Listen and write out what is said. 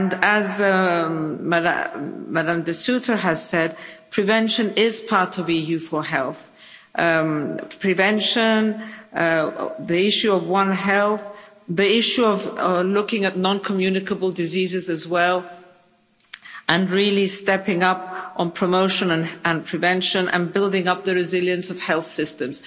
As Ms de Sutter has said, prevention is part of EU4Health prevention, the issue of One Health, the issue of looking at non communicable diseases as well, and really stepping up on promotion and prevention and building up the resilience of health systems.